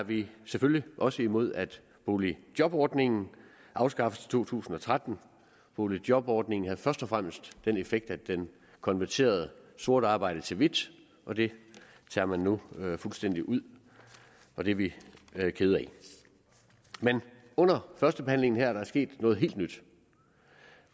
vi selvfølgelig også imod at boligjobordningen afskaffes i to tusind og tretten boligjobordningen har først og fremmest den effekt at den konverterer sort arbejde til hvidt og det tager man nu fuldstændig ud og det er vi kede af men under førstebehandlingen her er der sket noget helt nyt